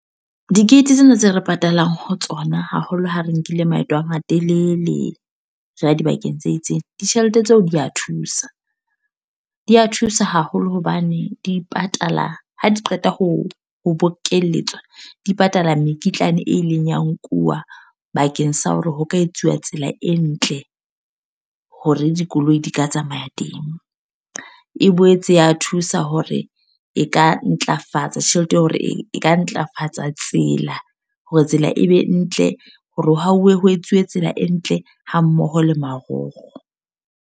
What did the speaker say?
Di-gate tsena tse re patalang ho tsona haholo ha re nkile maeto a matelele, re ya dibakeng tse itseng. Ditjhelete tseo di a thusa. Di a thusa haholo hobane, di ipatala ha di qeta ho ho bokelletswa. Di patala mekitlane e ileng ya nkuwa bakeng sa hore ho ka etsuwa tsela e ntle, hore dikoloi di ka tsamaya teng. E boetse ya thusa hore e ka ntlafatsa tjhelete ya hore e ka ntlafatsa tsela. Hore tsela e be ntle, hore ho hauwe ho etsuwe tsela e ntle ha mmoho le marokgo.